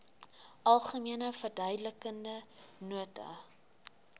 algemene verduidelikende nota